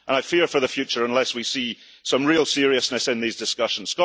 I fear for the future unless we see some real seriousness in these discussions.